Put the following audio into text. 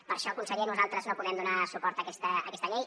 per això conseller nosaltres no podem donar suport a aquesta llei